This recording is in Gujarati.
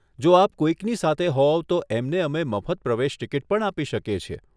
જો આપ કોઈકની સાથે હોવ તો એમને અમે મફત પ્રવેશ ટિકિટ પણ આપી શકીએ છીએ.